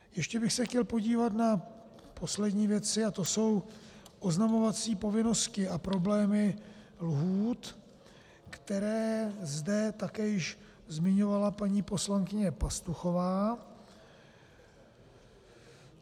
Ještě bych se chtěl podívat na poslední věci a to jsou oznamovací povinnosti a problémy lhůt, které zde také již zmiňovala paní poslankyně Pastuchová.